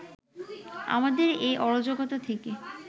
আমাদের এই অরাজকতা থেকে